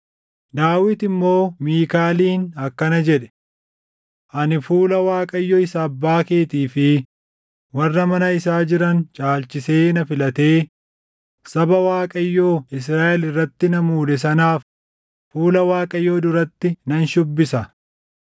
Daawit immoo Miikaaliin akkana jedhe; “Ani fuula Waaqayyo isa abbaa keetii fi warra mana isaa jiran caalchisee na filatee saba Waaqayyoo, Israaʼel irratti na muude sanaaf fuula Waaqayyoo duratti nan shuubbisa.